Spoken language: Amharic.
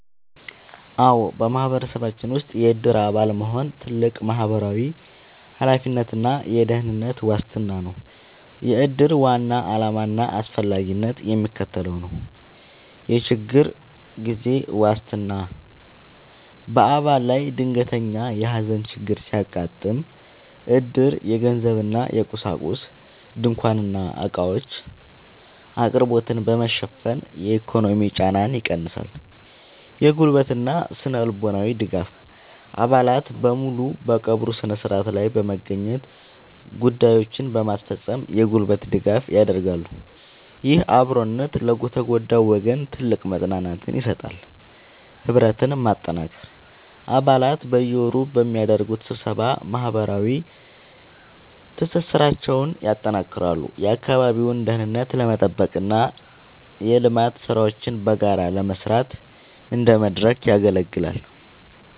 አዎ፣ በማህበረሰባችን ውስጥ የዕድር አባል መሆን ትልቅ ማህበራዊ ኃላፊነትና የደህንነት ዋስትና ነው። የዕድር ዋና ዓላማና አስፈላጊነት የሚከተለው ነው፦ የችግር ጊዜ ዋስትና፦ በአባል ላይ ድንገተኛ የሐዘን ችግር ሲያጋጥም፣ ዕድር የገንዘብና የቁሳቁስ (ድንኳንና ዕቃዎች) አቅርቦትን በመሸፈን የኢኮኖሚ ጫናን ይቀንሳል። የጉልበትና ስነ-ልቦናዊ ድጋፍ፦ አባላት በሙሉ በቀብሩ ሥነ ሥርዓት ላይ በመገኘትና ጉዳዮችን በማስፈጸም የጉልበት ድጋፍ ያደርጋሉ። ይህ አብሮነት ለተጎዳው ወገን ትልቅ መጽናናትን ይሰጣል። ህብረትን ማጠናከር፦ አባላት በየወሩ በሚያደርጉት ስብሰባ ማህበራዊ ትስስራቸውን ያጠናክራሉ፤ የአካባቢውን ደህንነት ለመጠበቅና የልማት ሥራዎችን በጋራ ለመስራት እንደ መድረክ ያገለግላል።